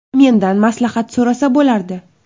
Mendan maslahat so‘rasa bo‘lardi.